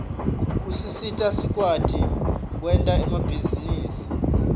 usisita sikwati kwerta emabihzarusi